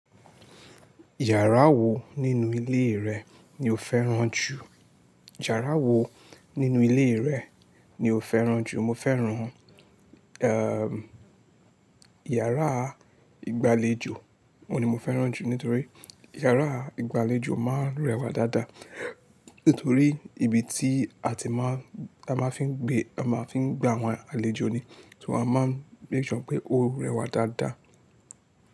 Yàrá wo nínú ilé rẹ ni o fẹ́ràn jù? Yàrá wo nínú ilé rẹ ni o fẹ́ràn jù? Mo fẹ́ràn, ehn, yàrá ìgbàlejò. Ni mo fẹ́ràn jù nítorí yàrá ìgbàlejò máa ń rẹwà dáadáa. Nítorí ibi tí a ti máa, a máa fi ń gbé, a máa fi ń gba àwọn àlejò ni, so a máa ń make sure ṣe pé ó rẹwà dáadáa.